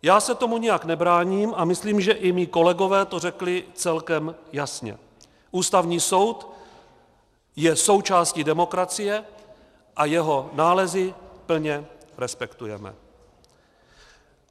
Já se tomu nijak nebráním a myslím, že i mí kolegové to řekli celkem jasně - Ústavní soud je součástí demokracie a jeho nálezy plně respektujeme.